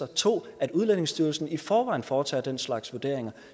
og 2 at udlændingestyrelsen i forvejen foretager den slags vurderinger